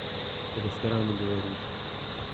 рестораны беларусь